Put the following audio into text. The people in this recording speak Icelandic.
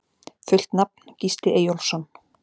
Fullt nafn: Gísli Eyjólfsson